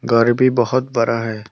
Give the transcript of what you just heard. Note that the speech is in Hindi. घर भी बहोत बड़ा है।